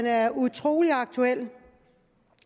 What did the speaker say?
er utrolig aktuel